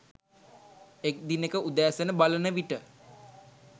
එක් දිනෙක උදෑසන බලන විට